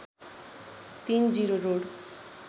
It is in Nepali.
३ जीरो रोड